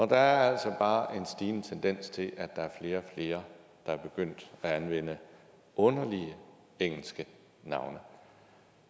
der er altså bare en stigende tendens til at der er flere og flere der er begyndt at anvende underlige engelske navne